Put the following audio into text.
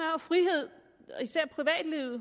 jo at frihed